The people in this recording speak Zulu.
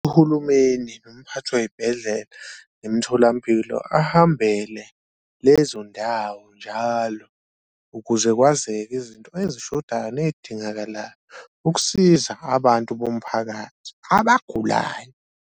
Uhulumeni nomphathi wey'bhedlela, imtholampilo ahambele lezo ndawo njalo ukuze kwazeke izinto ezishodayo ney'dingakalayo ukusiza abantu bomphakathi abagulayo.